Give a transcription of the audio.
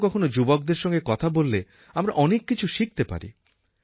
কখনও কখনও যুবকদের সঙ্গে কথা বললে আমরা অনেক কিছু শিখতে পারি